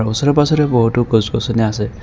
ওচৰে পাজৰে বহুতো গছ গছনি আছে।